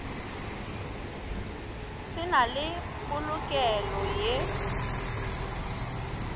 se na le polokelo ye